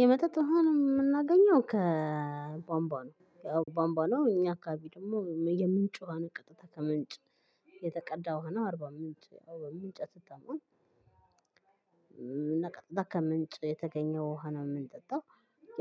የመጠጥ ውሃን የምናገኘው ከቧምቧ ነውያው ቧምቧ ነው። እኛ አካባቢ ደግሞ የምንጭ ውሃ ነው ቀጥታ ከምንጭ የተቀዳ ውሃ ነው አርባ ምንጭ ያው በምንጭ አትታማም። ቀጥታ ከምንጭ የተገኘ ውሃ ነው የምንጠጣው